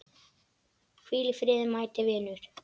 Hvíl í friði mæti vinur.